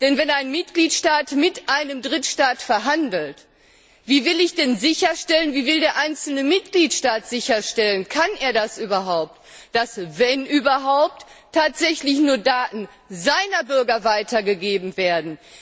Denn wenn ein Mitgliedstaat mit einem Drittstaat verhandelt, wie will ich denn sicherstellen, wie will und kann der einzelne Mitgliedstaat sicherstellen, dass wenn überhaupt tatsächlich nur Daten seiner Bürger weitergegeben werden?